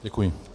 Děkuji.